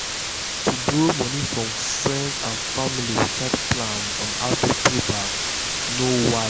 to borrow money for friend or family without plan on how to pay back no wise financially.